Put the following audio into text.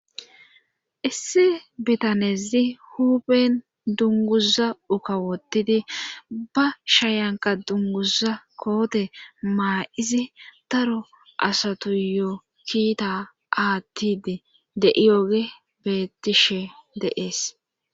issi bitanezi huben dunguza ukawotidi ba shayanka dunguza koote maa7izi taro asatu yoo kiita aattidi de7iyogey betishe de'ees